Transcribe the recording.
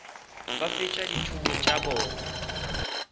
ba fetša dithuto tša bona